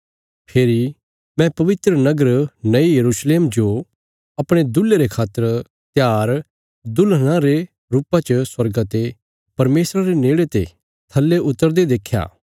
फेरी मैं पवित्र नगर नये यरूशलेम जो अपणे दुल्हे रे खातर त्यार दुल्हना रे रुपा च स्वर्गा ते परमेशरा रे नेड़े ते थल्ले उतरदे देख्या